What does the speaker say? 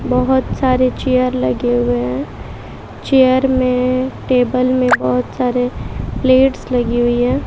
बहोत सारे चेयर लगे हुए हैं चेयर में टेबल में बहोत सारे प्लेट्स लगी हुई हैं।